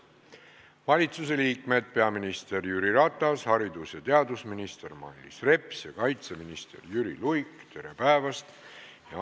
Valitsusliikmed, peaminister Jüri Ratas, haridus- ja teadusminister Mailis Reps ja kaitseminister Jüri Luik, tere päevast!